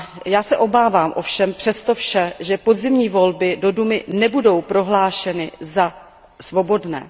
Já se ovšem přes to vše obávám, že podzimní volby do dumy nebudou prohlášeny za svobodné.